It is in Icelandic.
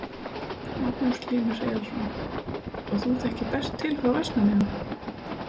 Magnús Hlynur Hreiðarsson: Og þú þekkir best til frá Vestmannaeyjum?